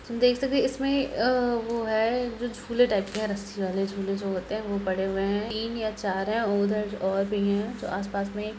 देख सकते हैं इसमें वो हैं जो झूले टाईप के हैं रस्सी वाले झूल जो होते हैं वो पड़े हुए हैं| तीन या चार है उधर और भी हैं जो आसपास में--